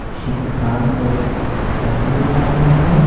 किसी को काम को करते नजर आ रहा है।